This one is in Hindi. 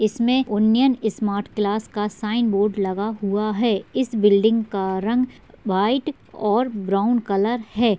इसमें ओनियन स्मार्ट क्लास का बोर्ड भी लगा हुआ है। इस बिल्डिंग का रंग वाईट और ब्राउन कलर है।